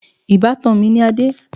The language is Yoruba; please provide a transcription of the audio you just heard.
Ìbátan mi ni Adé.